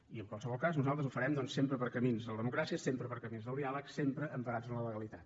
i en qualsevol cas nosaltres ho farem doncs sempre per camins de la democràcia sempre per camins del diàleg sempre emparats en la legalitat